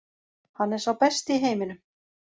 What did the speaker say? Hann er sá besti í heiminum.